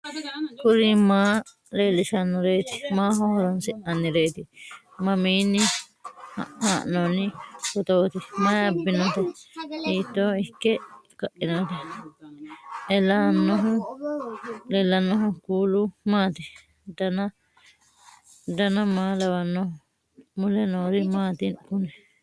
kuri maa leellishannoreeti maaho horoonsi'noonnireeti mamiinni haa'noonni phootooti mayi abbinoote hiito ikke kainote ellannohu kuulu maati dan maa lawannoho mule noori maati kuni